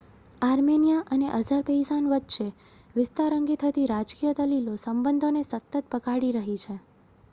Armenia અને Azerbaijan વચ્ચે વિસ્તાર અંગે થતી રાજકીય દલીલો સબંધોને સતત બગાડી રહી છે